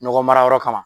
Nɔgɔ mara yɔrɔ kama